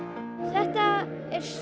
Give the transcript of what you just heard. þetta er